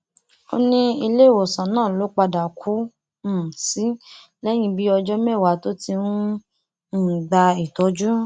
ó ní iléèwòsàn náà ló padà kú um sí lẹyìn bíi ọjọ mẹwàá tó ti ń um gba ìtọjú